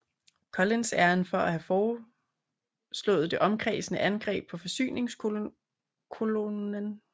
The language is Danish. Collins æren for at have foreslået det omkredsende angreb på forsyningskolonnen